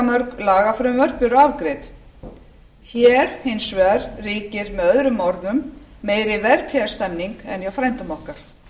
mörg lagafrumvörp eru afgreidd hér hins vegar ríkir með öðrum orðum meiri vertíðarstemmning en hjá frændum okkar